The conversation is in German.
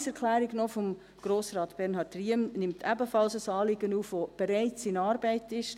Die Planungserklärung von Grossrat Bernhard Riem nimmt ebenfalls ein Anliegen auf, das bereits in Arbeit ist;